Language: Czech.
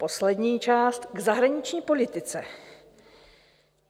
Poslední část k zahraniční politice.